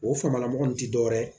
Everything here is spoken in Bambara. O famala mɔgɔ min ti dɔwɛrɛ ye